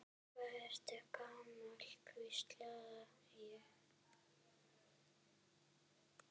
Hvað ertu gamall, hvísla ég.